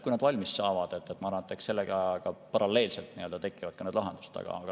Kui need valmis saavad, siis sellega paralleelselt tekivad ka need lahendused.